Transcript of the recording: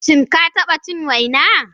Shin ka taɓa cin waina?